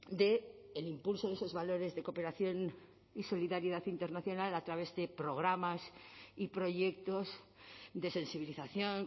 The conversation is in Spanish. del impulso de esos valores de cooperación y solidaridad internacional a través de programas y proyectos de sensibilización